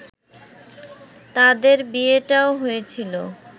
তাদের বিয়েটাও হয়েছিল